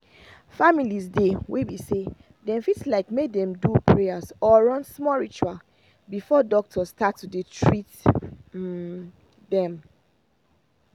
families dey wey be say dem fit like make dem do prayers or run small ritual before doctor start to dey treat them.